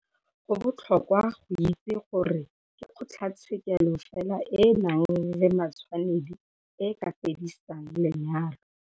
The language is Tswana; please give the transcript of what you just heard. Go botlhokwa go itse gore ke kgotlatshekelo fela e e nang le matshwanedi e e ka fedisang lenyalo.